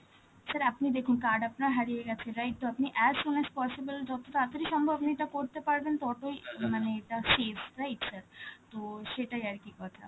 sir আপনি দেখুন card আপনার হারিয়ে গেছে, right? তো আপনি as soon as possible, যত তাড়াতাড়ি সম্ভব আপনি এটা করতে পারবেন, ততই মানে safe, right sir? তো সেটাই আর কি কথা,